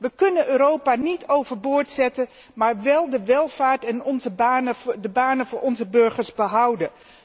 We kunnen Europa niet overboord zetten, maar wel de welvaart en de banen voor onze burgers behouden.